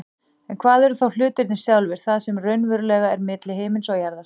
En hvað eru þá hlutirnir sjálfir, það sem raunverulega er milli himins og jarðar?